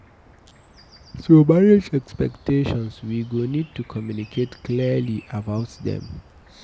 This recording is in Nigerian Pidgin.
To manage expectations we go need to communicate clearly about them